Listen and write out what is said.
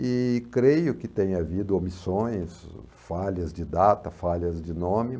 E creio que tenha havido omissões, falhas de data, falhas de nome,